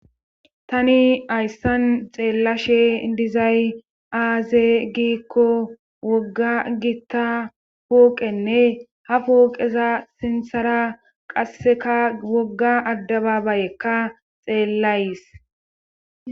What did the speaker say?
Tani ayssan xeellashe dizay aaze giikko wogga gitta puoqenne ha puoqeza sinthara qasseka wogga addababayekka xeellays.